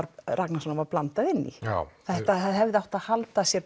Ragnarssonar var blandað inn í það hefði átt að halda sig